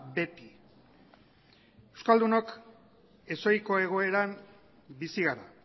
beti euskaldunok ez ohiko egoeran bizi gara